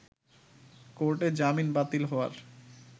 কোর্টে জামিন বাতিল হওয়ার